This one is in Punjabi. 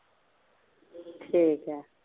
ਠੀਕ ਏ।